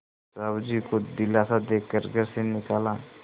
साहु जी को दिलासा दे कर घर से निकाला